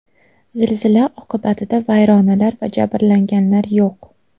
Zilzila oqibatida vayronalar va jabrlanganlar yo‘q.